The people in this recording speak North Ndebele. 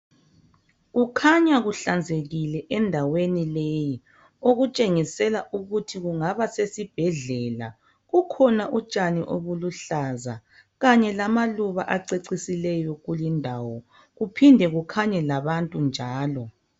Kukhanya kuhlanzekile endaweni leyi. Okutshengisela ukuthi kungaba sesibhedlela. Kukhona utshani obuluhlaza, kanye lamaluba acecisileyo, kulindawo. Kuphinde kukhanye labantu njalo.